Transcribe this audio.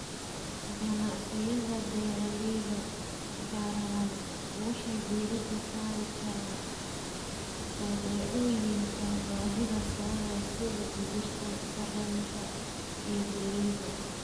Ganacsiyada beeraleyda ballaaran waxay diiradda saari karaan badeecooyinka baahida sare leh sida digirta, sarreenka, iyo galleyda.